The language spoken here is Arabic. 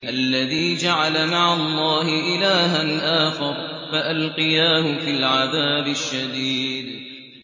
الَّذِي جَعَلَ مَعَ اللَّهِ إِلَٰهًا آخَرَ فَأَلْقِيَاهُ فِي الْعَذَابِ الشَّدِيدِ